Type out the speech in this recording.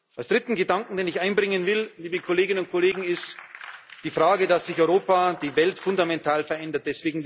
Der dritte Gedanke, den ich einbringen will, liebe Kolleginnen und Kollegen, ist die Frage, dass sich Europa und die Welt fundamental verändern.